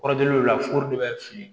Kɔrɔdon la furu bɛ fili